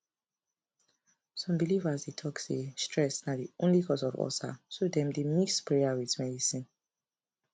some believers dey talk say stress na the only cause of ulcer so dem dey mix prayer with medicine